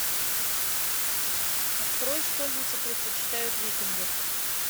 открой школьницы предпочитают викингов